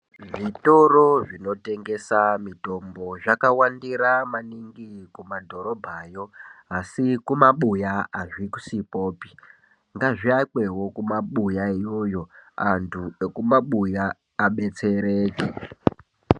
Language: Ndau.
Zvitoro zvinotengesa mitombo zvakawandira maningi kumadhorobhayo. Asi kumabuya azvisikwopi. Ngaazviakwewo kumabuya iyoyo, antu ekumabuya abetsereke.